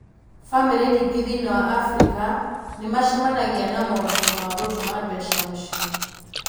Bamĩrĩ nyingĩ thĩinĩ wa Abirika nĩmacemanagia na moritũ ma gũtũma mbeca mũciĩ